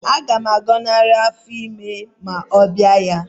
Aga m agọnarị afọ ime ma ọ bịa ya